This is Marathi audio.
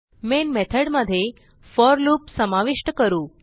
मेन मेथॉड मध्ये फोर लूप समाविष्ट करू